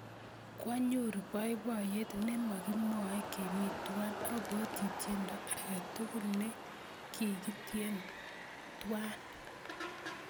Kwaanyoru poipoiyet ne mokimwoey kemi twai. Abwoti tyendo ake tukul ne kikityen twai.